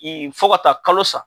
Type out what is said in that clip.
I fɔ ka taa kalo sa